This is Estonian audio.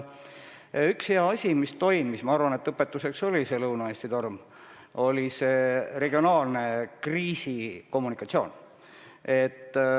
Üks asi, mis meid õpetas, oli Lõuna-Eesti torm ja selleaegne regionaalne kriisikommunikatsioon.